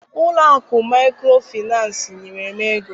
Ụlọ akụ maịkrofịnansị nyere m ego.